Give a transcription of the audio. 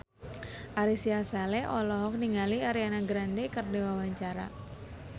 Ari Sihasale olohok ningali Ariana Grande keur diwawancara